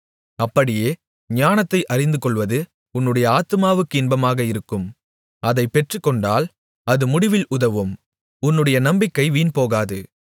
அப்படியே ஞானத்தை அறிந்துகொள்வது உன்னுடைய ஆத்துமாவுக்கு இன்பமாக இருக்கும் அதைப் பெற்றுக்கொண்டால் அது முடிவில் உதவும் உன்னுடைய நம்பிக்கை வீண்போகாது